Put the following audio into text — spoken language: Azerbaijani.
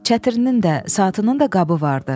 Çətirinin də, saatının da qabı vardı.